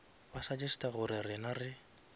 ba suggesta gore rena re